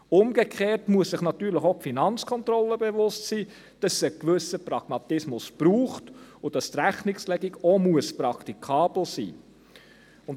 Umgekehrt muss sich natürlich auch die FK bewusst sein, dass es einen gewissen Pragmatismus braucht und dass die Rechnungslegung auch praktikabel sein muss.